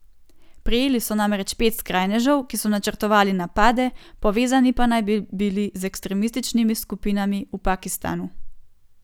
Prijeli so namreč pet skrajnežev, ki so načrtovali napade, povezani pa naj bi bili z ekstremističnimi skupinami v Pakistanu.